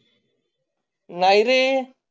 नाही रे